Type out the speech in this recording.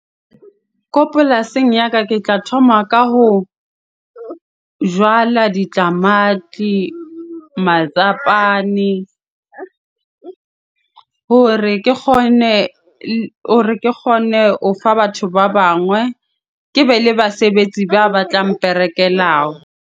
Ko polasing ya ka ke tla thoma ka ho jala ditamati hore ke kgone, hore ke kgone ho fa batho ba bangwe. Ke be le basebetsi ba batla mperekelago.